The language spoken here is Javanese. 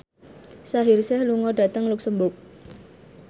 Shaheer Sheikh lunga dhateng luxemburg